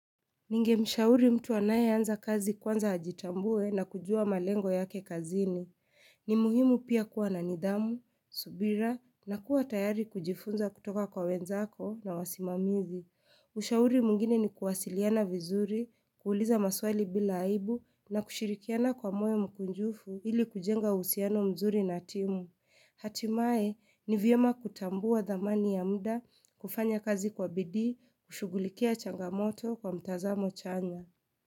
Ninge mshauri mtu anaye anza kazi kwanza hajitambue na kujua malengo yake kazini. Ni muhimu pia kuwa na nidhamu, subira na kuwa tayari kujifunza kutoka kwa wenzako na wasimamizi. Ushauri mwingine ni kuwasiliana vizuri, kuuliza maswali bila haibu na kushirikiana kwa moyo mkunjufu ili kujenga uhusiano mzuri na timu. Hatimae ni vyema kutambua dhamani ya mda kufanya kazi kwa bidii kushugulikia changamoto kwa mtazamo chanya.